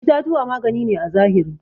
itatuwa magani ne à zahiri.